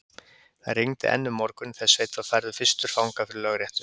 Það rigndi enn um morguninn, þegar Sveinn var færður fyrstur fanga fyrir lögréttu.